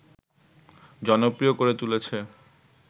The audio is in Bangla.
জনপ্রিয় করে তুলেছে